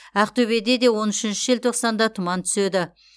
ақтөбеде де он үшінші желтоқсанда тұман түседі